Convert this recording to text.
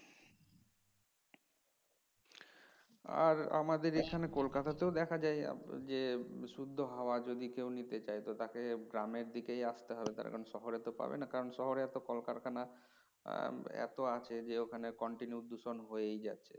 আর আমাদের এখানে কলকাতাতেও দেখা যায় যে বিশুদ্ধ হওয়া যদি কেউ নিতে চায় তাকে গ্রামের দিকেই আসতে হবে তার কারণ শহরে তো পাবে না কারণ শহরে এত কল কারখানা এত আছে যে ওখানে continue দূষণ হয়েই যাচ্ছে